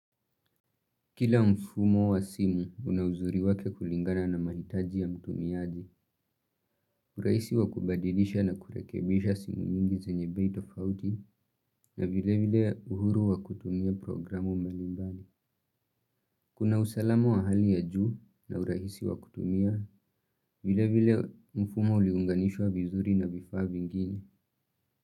Kila mfumo wa simu unauzuri wake kulingana na mahitaji ya mtumiaji, urahisi wa kubadilisha na kurekebisha simu nyingi zenye bei tofauti na vile vile uhuru wa kutumia programu mbalimbali. Kuna utalamu wahali ya juu na urahisi wa kutumia vile vile mfumo uliounganishwa vizuri na vifaa vingine.